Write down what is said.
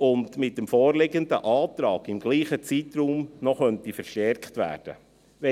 die mit dem vorliegenden Antrag im selben Zeitraum noch verstärkt werden könnte.